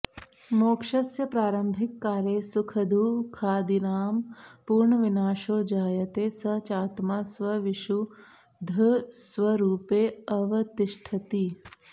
मोक्षस्य प्रारंभिककाले सुखदुः खादीनां पूर्णविनाशो जायते स चात्मा स्वविशुद्धस्वरूपेऽवतिष्ठति